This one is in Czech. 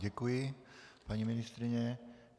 Děkuji, paní ministryně.